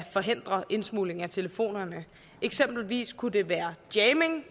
forhindre indsmugling af telefoner eksempelvis kunne det være jamming